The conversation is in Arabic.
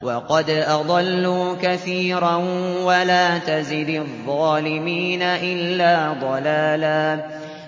وَقَدْ أَضَلُّوا كَثِيرًا ۖ وَلَا تَزِدِ الظَّالِمِينَ إِلَّا ضَلَالًا